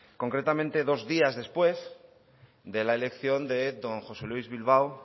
concretamente dos días después de la elección del señor don josé luis bilbao